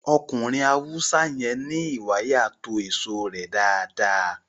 Ọkùnrin Haúsá yẹn ní ìwàyà to èso rẹ dáadáa